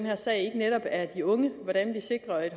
her sag ikke netop er de unge hvordan sikrer